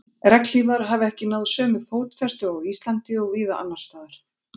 Regnhlífar hafa ekki náð sömu fótfestu á Íslandi og víða annars staðar.